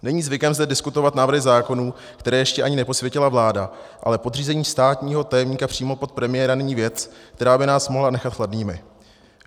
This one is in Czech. Není zvykem zde diskutovat návrhy zákonů, které ještě ani neposvětila vláda, ale podřízení státního tajemníka přímo pod premiéra není věc, která by nás mohla nechat chladnými.